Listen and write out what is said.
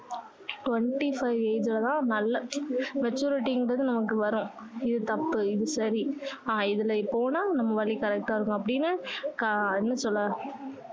twenty five age ல தான் நல்ல maturity ங்கிறது நமக்கு வரும் இது தப்பு இது சரி ஆஹ் இதுல போனா நம்ம வழி correct டா இருக்கும் அப்படின்னு அஹ் என்ன சொல்ல